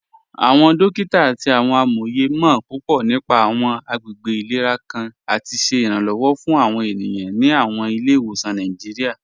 Awọn dòkita àti awọn amóyè mọ̀ púpọ̀ nípà awọn àgbègbè ilẹ̀rà kàn àti ṣẹ iranlọ́wọ̀ fún awọn ènìyàn ní awọn ilẹ̀-ìwọsan Nàìjíríà.